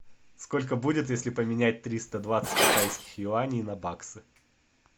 сколько будет если поменять триста двадцать китайских юаней на баксы